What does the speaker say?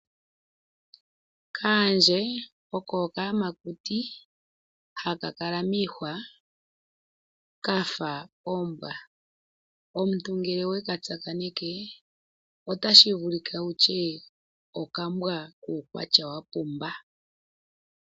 Kaandje oko okayamakuti haka kala mwiihwa kafa ombwa omuntu ngele weka tsakaneke otashi vulike wutye okambwa kuukwatya wapumba.